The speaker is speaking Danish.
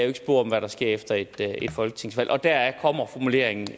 ikke spå om hvad der sker efter et folketingsvalg og deraf kommer formuleringen